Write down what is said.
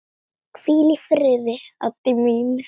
Hvíl í friði, Addý mín.